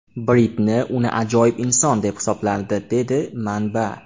Britni uni ajoyib inson deb hisoblardi”, dedi manba.